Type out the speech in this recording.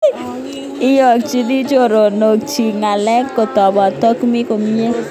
Iyakchin choronok chik ngalek kotepen kotkomi komnye.